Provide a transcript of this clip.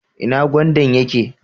Ina gwandan yake?